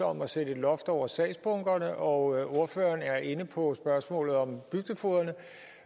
om at sætte et loft over sagsbunkerne og ordføreren er inde på spørgsmålet om bygdefogederne